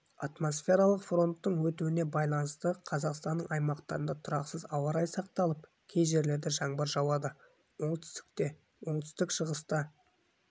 атмосфералық фронттардың өтуіне байланысты қазақстанның аймақтарында тұрақсыз ауа райы сақталып кей жерлерде жаңбыр жауады оңтүстікте оңтүстік-шығыста